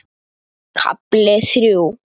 KAFLI ÞRJÚ